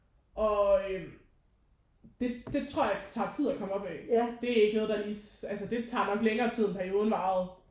Og øh det det tror jeg tager tid at komme op af. Det er ikke noget der lige altså det tager nok længere tid end perioden varede